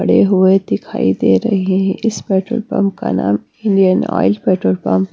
हुए दिखाई दे रहे हैं इस पेट्रोल पंप का नाम इंडियन ऑयल पेट्रोल पंप .